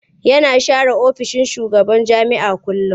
Yana share ofishin shugaban jami'a kullum.